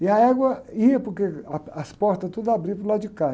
E a égua ia, porque ah, as portas tudo abriam para o lado de cá.